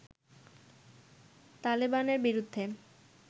তালেবানের বিরুদ্ধে